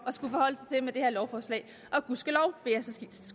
at med det her lovforslag og gudskelov